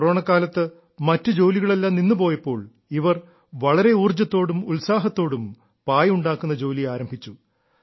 കൊറോണക്കാലത്ത് മറ്റു ജോലികളെല്ലാം നിന്നുപോയപ്പോൾ ഇവർ വളരെ ഊർജ്ജത്തോടും ഉത്സാഹത്തോടും പായ് ഉണ്ടാക്കുന്ന ജോലി ആരംഭിച്ചു